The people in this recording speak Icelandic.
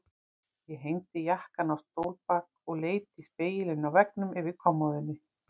Ég hengdi jakkann á stólbak og leit í spegilinn á veggnum yfir kommóðunni.